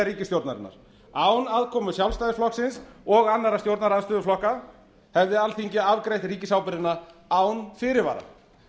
ríkisstjórnarinnar án aðkomu sjálfstæðisflokksins og annarra stjórnarandstöðuflokka hefði alþingi afgreitt ríkisábyrgðina án fyrirvara